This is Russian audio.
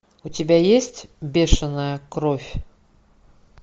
у тебя есть бешеная кровь